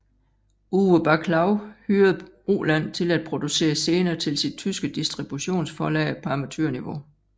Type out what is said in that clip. Uwe Baclau hyrede Roland til at producere scener til sit tyske distributionsforlag på amatørniveau